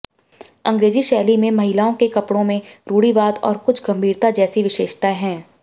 अंग्रेजी शैली में महिलाओं के कपड़ों में रूढ़िवाद और कुछ गंभीरता जैसी विशेषताएं हैं